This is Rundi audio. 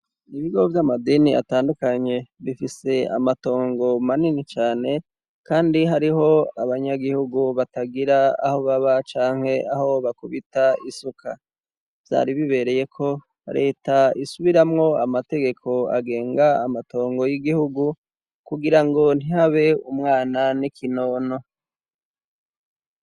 Ibigo vy'amadini atandukanye bifise amatongo manini cane kandi hariho abanyagihugu batagira aho baba canke aho bakubita isuka byari bibereye ko leta isubiramwo amategeko agenga amatongo y'igihugu kugira ngo ntihabe umwana n'ikinono.